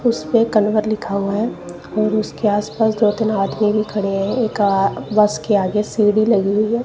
उसपे कलेवर लिखा हुआ है और उसके आसपास दो तीन आदमी भी खड़े हैं एक आ बस के आगे सीढ़ी लगी हुई है।